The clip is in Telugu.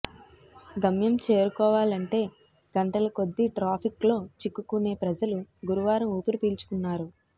గమ్యం చేరుకోవాలంటే గంటల కొద్ది ట్రాఫిక్ లో చిక్కుకునే ప్రజలు గురువారం ఊపిరిపీల్చుకున్నారు